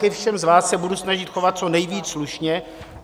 Ke všem z vás se budu snažit chovat co nejvíc slušně.